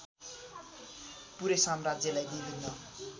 पूरै साम्राज्यलाई विभिन्न